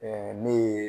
ne ye